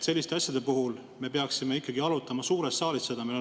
Selliseid asju me peaksime ikkagi arutama suures saalis.